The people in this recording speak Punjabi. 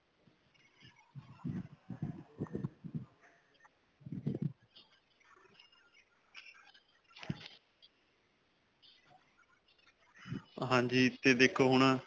ਹਾਂਜੀ. 'ਤੇ ਦੇਖੋ ਹੁਣ.